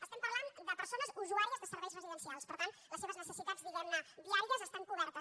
estem parlant de persones usuàries de serveis residencials per tant les seves necessitats diguem ne diàries estan cobertes